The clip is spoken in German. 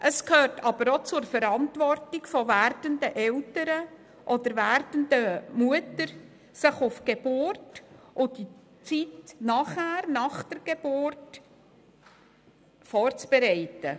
Es gehört aber auch zur Verantwortung von werdenden Eltern oder werdenden Mütter, sich auf die Geburt und auf die Zeit danach vorzubereiten.